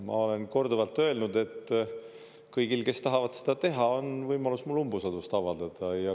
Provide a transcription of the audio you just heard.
Ma olen korduvalt öelnud, et kõigil, kes tahavad seda teha, on võimalus mulle umbusaldust avaldada.